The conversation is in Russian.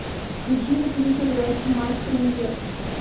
включи на тиви передачу матч премьер